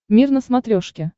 мир на смотрешке